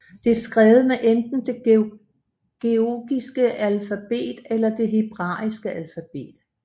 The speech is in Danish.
Det er skrevet med enten det georgiske alfabet eller det hebraiske alfabet